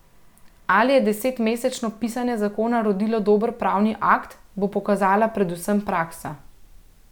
Ali je desetmesečno pisanje zakona rodilo dober pravni akt, bo pokazala predvsem praksa.